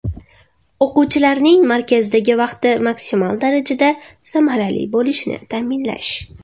O‘quvchilarning markazdagi vaqti maksimal darajada samarali bo‘lishini ta’minlash.